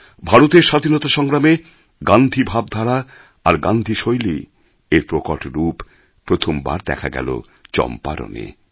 ভারতের স্বাধীনতা সংগ্রামে গান্ধী ভাবধারা আর গান্ধী শৈলী এর প্রকট রূপ প্রথমবার দেখা গেল চম্পারণে